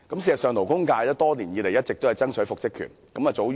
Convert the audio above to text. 事實上，勞工界多年來一直爭取復職權。